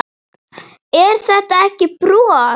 Er þetta ekki brot?